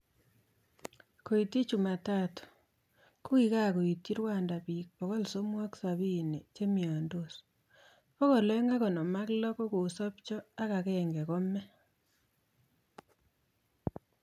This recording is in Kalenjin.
Koityi Jumatatu, Kokikakoityi Rwanda bik 370 che miandos, 256 kokosopcho ak agenge kome.